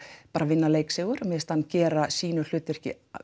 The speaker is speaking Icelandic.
bara vinna leiksigur mér finnst hann gera sínu hlutverki